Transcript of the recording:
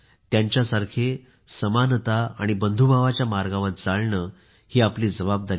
त्यांच्यासारखे समानता आणि बंधुभावाच्या मार्गावर चालणे ही आपली जबाबदारी आहे